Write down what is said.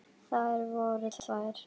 Þær voru tvær.